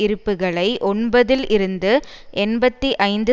இருப்புகளை ஒன்பது தில் இருந்து எண்பத்தி ஐந்து